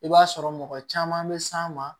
I b'a sɔrɔ mɔgɔ caman bɛ s'a ma